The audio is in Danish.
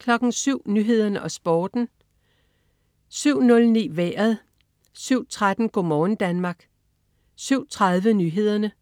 07.00 Nyhederne og Sporten (man-fre) 07.09 Vejret (man-fre) 07.13 Go' morgen Danmark (man-fre) 07.30 Nyhederne